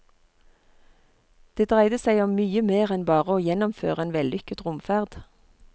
Det dreide seg om mye mer enn bare å gjennomføre en vellykket romferd.